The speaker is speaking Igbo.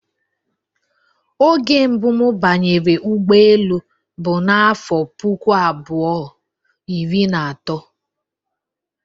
Oge mbụ mụ banyere ụgbọelu bụ n'afọ puku abuo, iri na atọ